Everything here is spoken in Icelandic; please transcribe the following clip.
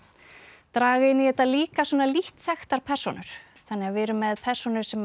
draga inn í þetta líka lítt þekktar persónur þannig að við erum með persónur sem